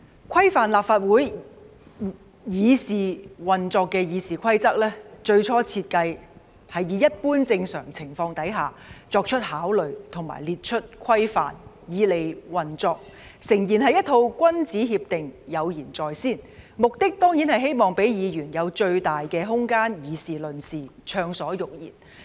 規範立法會議事運作的《議事規則》，最初設計是以一般正常情況下作出考慮和列出規範，以利運作，誠然是一套君子協定、有言在先，目的當然是希望給議員最大的空間議事論事、暢所欲言。